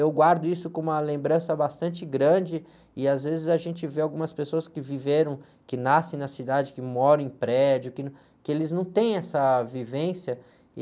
Eu guardo isso com uma lembrança bastante grande e, às vezes, a gente vê algumas pessoas que viveram, que nascem na cidade, que moram em prédio, que, que eles não têm essa vivência e